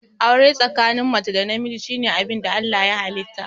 Aure tsakanin mace da namiji shine abinda Allah ya halitta